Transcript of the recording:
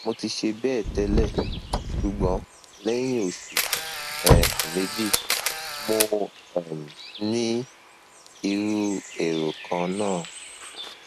mo ti ṣe bẹẹ tẹlẹ ṣùgbọn lẹyìn oṣù um méjì mo um ní irú èrò kan náà